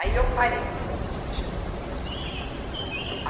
Aí eu parei um pouco de mexer com isso.